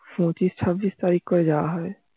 পঁচিশ চব্বিশ তারিখ ওই যা হবে